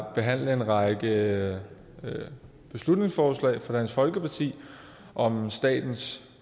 behandle en række beslutningsforslag fra dansk folkeparti om statens